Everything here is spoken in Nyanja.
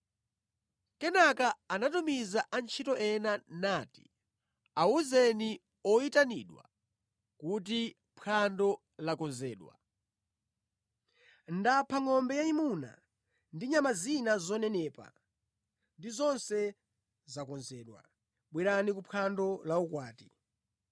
“Kenaka anatumiza antchito ena nati, ‘Awuzeni oyitanidwa kuti phwando lakonzedwa: ndapha ngʼombe yayimuna ndi nyama zina zonenepa ndipo zonse zakonzedwa. Bwerani ku phwando laukwati.’